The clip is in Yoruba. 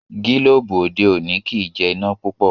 Gilobu òde òni kí jé iná púpọ.